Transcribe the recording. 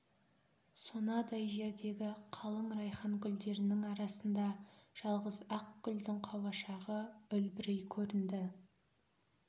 сонадай жердегі қалың райхан гүлдерінің арасында жалғыз ақ гүлдің қауашағы үлбірей көрінді